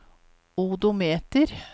odometer